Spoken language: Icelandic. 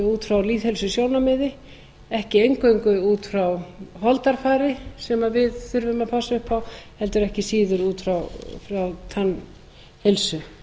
út frá lýðheilsusjónarmiði ekki eingöngu út frá holdafari sem við þurfum að passa upp á heldur ekki síður út frá tannheilsu